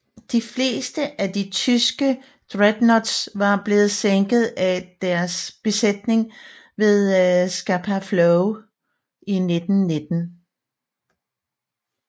De fleste af de tyske dreadnoughts var blevet sænket af deres besætninger ved Scapa Flow i 1919